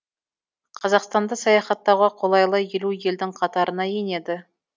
қазақстанды саяхаттауға қолайлы елу елдің қатарына енеді